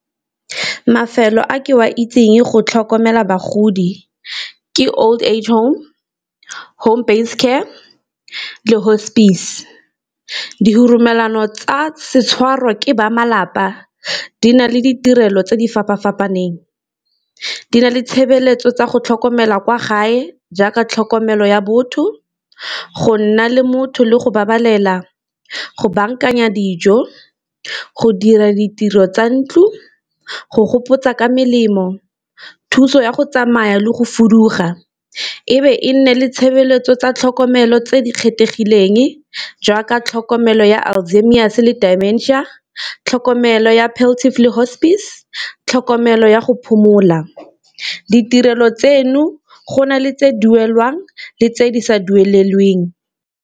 Mafelo a ke wa itseng go tlhokomela bagodi ke old age home, home based care le hospice. tsa setshwarwa ke ba malapa di na le ditirelo tse di fapa-fapaneng, di na le tshebeletso tsa go tlhokomela kwa gae jaaka tlhokomelo ya botho, go nna le motho le go babalela, go bankanya dijo, go dira ditiro tsa ntlo, go gopotsa ka melemo, thuso ya go tsamaya le go fuduga. E be e nne le tshebeletso tsa tlhokomelo tse di kgethegileng jaaka tlhokomelo ya alzheimers le dementia, tlhokomelo ya le hospice, tlhokomelo ya go phomola ditirelo tseno go na le tse duelwang le tse di sa duelelweng.